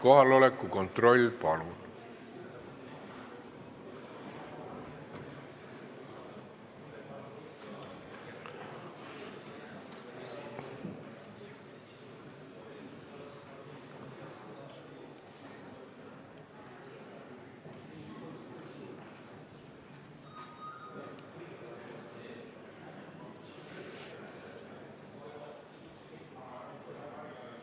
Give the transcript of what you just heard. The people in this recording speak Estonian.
Kohaloleku kontroll, palun!